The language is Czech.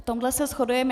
V tom se shodujeme.